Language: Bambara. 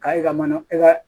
K'a yira mana i ka